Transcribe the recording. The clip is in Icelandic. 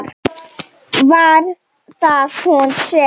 Var það hún sem.?